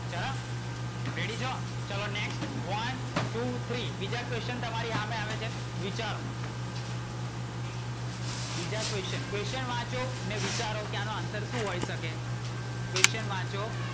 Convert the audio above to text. Ready છો? ચલો next one, two, three બીજા question તમારી હામે આવે છે. વિચારો. બીજા question. question વાંચો અને વિચારો કે આનો answer શું હોય શકે. question વાંચો.